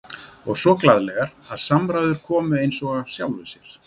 Og svo glaðleg að samræður komu eins og af sjálfu sér.